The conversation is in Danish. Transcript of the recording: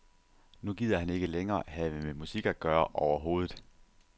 Nu gider han ikke længere have med musik at gøre overhovedet.